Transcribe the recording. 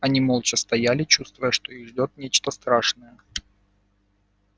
они молча стояли чувствуя что их ждёт нечто страшное